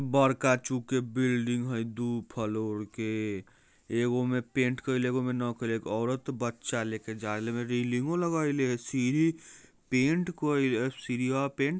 बरका चुके बिल्डिंग हइ दू फ्लोर के। एकगो मे पेंट करली एगो मे न करे औरत बच्चा लेके जाये लेबे रेलिंग ओ लगाईले सीडी पेंट करी सीरिया पेंट